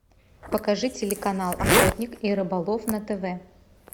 покажи телеканал охотник и рыболов на тв